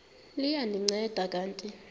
liya ndinceda kanti